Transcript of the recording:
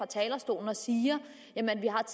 talerstolen og sige at